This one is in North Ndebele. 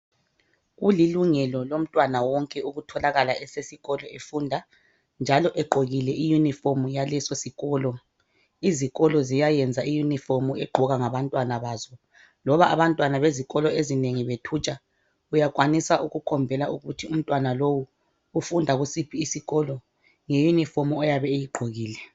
Kulilungelo lomntwana wonke ukuthi atholakale esesikolo efunda njalo egqokile iyunifomi yaleso sikolo. Izikolo ziyayenza iyunifomi egqokwa ngabantwana bazo, loba abantwana besikolo ezinbethutsha uyakwanisa ukukhombela ukuthi umntwana lowu ufunda kusiphi isikolo ngeyunifomi ayabe eyigqokile.